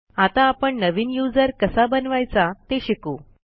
आता आपण नवीन यूझर कसा बनवायचा ते शिकू